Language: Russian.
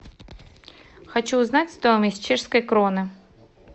хочу узнать стоимость чешской кроны